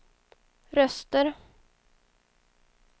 röster